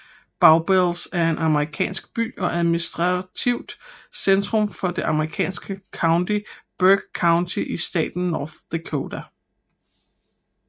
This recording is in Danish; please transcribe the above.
Bowbells er en amerikansk by og administrativt centrum for det amerikanske county Burke County i staten North Dakota